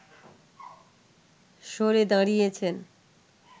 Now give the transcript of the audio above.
সরে দাঁড়িয়েছেন